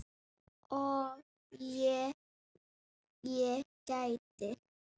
Og ef ég gæti?